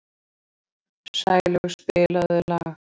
Sælaug, spilaðu lag.